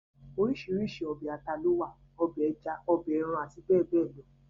orísirísi ọbẹ̀ ata ló wà, ọbẹ̀ ẹja, ọbẹ̀ ẹran àti bẹ́ẹ̀bẹ́ẹ̀ lọ